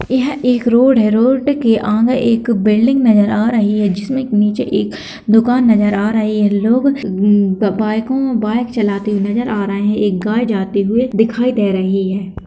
यह एक रोड है रोड के आगे एक बिल्डिंग नजर आ रही है जिसमे नीचे एक दुकान नज़र आ रही है लोग अम्म बाइको बाइक चलाते हुए नज़र आ रहे हैं एक गाय जाते हुए दिखाई दे रही है।